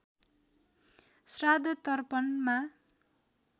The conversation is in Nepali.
श्राद्ध तर्पणमा